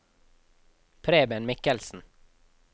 Preben Michelsen